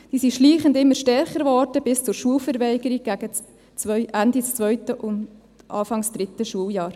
Diese wurden schleichend immer stärker, bis zur Schulverweigerung gegen Ende 2. und Anfang 3. Schuljahr.